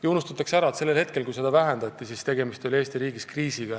Ja unustatakse ära, et ajal, kui seda vähendati, oli Eesti riigis kriis.